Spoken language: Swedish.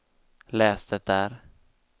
läs det där